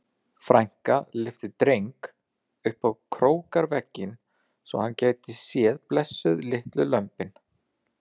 Frænka lyfti Dreng upp á króarvegginn svo hann gæti séð blessuð litlu lömbin.